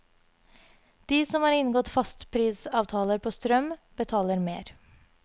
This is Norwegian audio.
De som har inngått fastprisavtaler på strøm, betaler mer.